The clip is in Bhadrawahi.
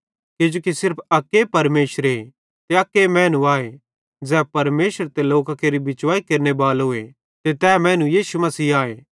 किजोकि सिर्फ अक्के परमेशरे ते अक मैनू आए ज़ै परमेशर ते लोकां केरो बिचवाई कराने बालो ते तै मैनू यीशु मसीह आए